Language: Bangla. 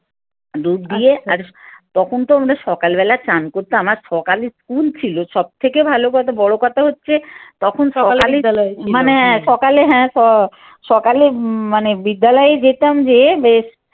ডুব দিয়ে আর তখন তো আমাদের সকালবেলা চান করতো আর সকালের স্কুল ছিল সব থেকে ভালো কথা, বড় কথা হচ্ছে তখন মানে সকাল হ্যাঁ সকালে মানে বিদ্যালয়ে যেতাম যে বেশ